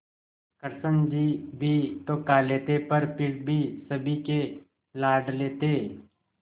कृष्ण जी भी तो काले थे पर फिर भी सभी के लाडले थे